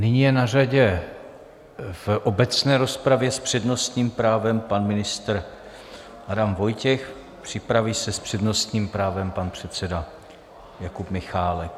Nyní je na řadě v obecné rozpravě s přednostním právem pan ministr Adam Vojtěch, připraví se s přednostním právem pan předseda Jakub Michálek.